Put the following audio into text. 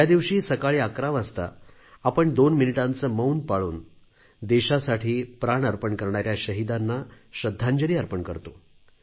या दिवशी सकाळी 11 वाजता आपण दोन मिनिटांचे मौन पाळून देशासाठी प्राण अर्पण करणाऱ्या शहीदांना श्रद्धांजली देतो